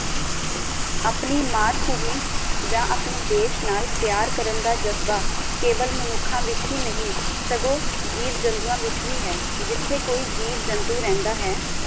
ਆਪਣੀ ਮਾਤਭੂਮੀ ਯਾ ਅਪਣੇ ਦੇਸ਼ ਨਾਲ ਪਿਆਰ ਕਰਨ ਦਾ ਜਜ਼ਬਾ ਕੇਵਲ ਮਨੁਖਾਂ ਵਿੱਚ ਹੀ ਨਹੀਂ ਸਗੋਂ ਜੀਵ ਜੰਤੂਆਂ ਵਿਚ ਵੀ ਹੈ ਜਿਥੇ ਕੋਈ ਜੀਵ ਜੰਤੂ ਰਹਿੰਦਾ ਹੈ